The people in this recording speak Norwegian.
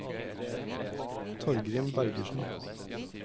Torgrim Bergersen